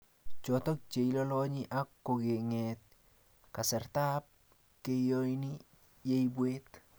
choto cheilolonyi ak kong'eet kastaetab cheiyoni yeibwaat